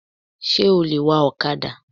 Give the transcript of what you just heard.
Sé o lè wa òkadà